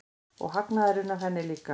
Og hagnaðurinn af henni líka.